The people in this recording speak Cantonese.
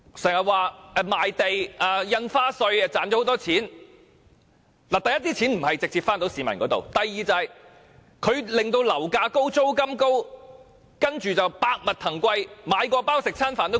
可是，第一，這些錢沒有直接回到市民手上；第二，這些錢令樓價高、租金高，接着就百物騰貴，連買麪包或吃飯的價錢也昂貴。